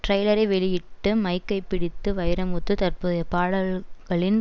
டிரைலரை வெளியிட்டு மைக்கை பிடித்து வைரமுத்து தற்போதைய பாடல்களின்